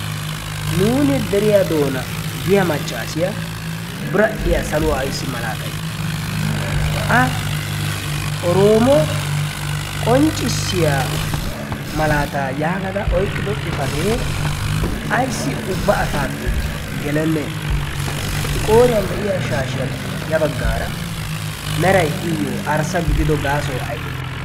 Nuun deriya doona giyaa maccassiya biradhdhiya saluwaa malaltay. a oroomo yaagada qonccissiya malata yaagada oyqqidi xifaatee ayssi ubba asayyo gelenne? I qorriyaa de'iyaa shashshiyaappe ya baggara meray iyyo arssa gididoy gaasoy aybbe?